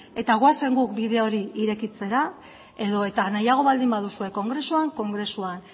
eta goazen guk bide hori irekitzera edo eta nahiago baldin baduzue kongresuan kongresuan